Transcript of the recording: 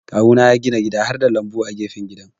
Kawuna ya gina gida harda lambu a gefen gidan.